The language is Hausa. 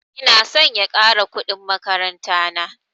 Ina son ya ƙara kuɗin makaranta na